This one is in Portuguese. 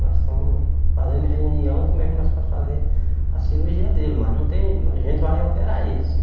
Nós estamos fazendo reunião como é que nós pode fazer a cirurgia dele, mas não tem, a gente vai operar ele sim.